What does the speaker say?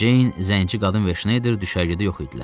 Ceyn, zənci qadın və Şneyder düşərgədə yox idilər.